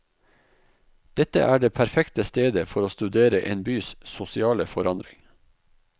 Dette er det perfekte stedet for å studere en bys sosiale forandring.